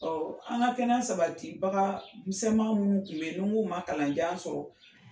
an ka kɛnɛya sabati baga misɛnman minnu kun bɛ ye munnu man kalanjan sɔrɔ.